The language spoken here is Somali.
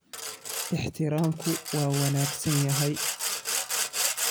Ixtiraamku waa wanaagsan yahay.